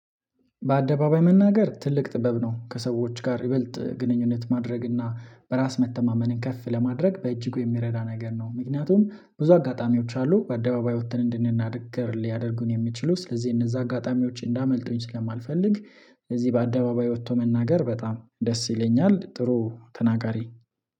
በአደባባይ መናገር ትልቅ ጥበብ ነው። ከሰዎች ጋር ይበልጥ ግንኙነት ማድረግ እና በራስ መተማመንን ከፍ ለማድረግ በእጅጉ የሚረዳ ነገር ነው። ምክንያትውም ብዙ አጋጣሚዎች አሉ። በአደባባይ ወጥተን እንድንናገር ሊያደርጉን የሚችሉ ስለዚህ፣ የነዛ አጋጣሚዎች እንዳያመልጡኝስለማልፈልግ፣ እዚህ በአደባባይ ወጥቶ መናገር በጣም ደስ የለኛል። ጥሩ ተናጋሪ።